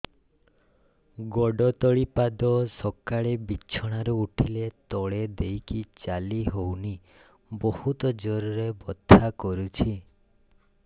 ଗୋଡ ତଳି ପାଦ ସକାଳେ ବିଛଣା ରୁ ଉଠିଲେ ତଳେ ଦେଇକି ଚାଲିହଉନି ବହୁତ ଜୋର ରେ ବଥା କରୁଛି